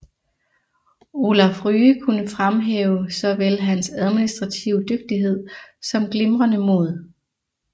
Olaf Rye kunne fremhæve såvel hans administrative dygtighed som glimrende mod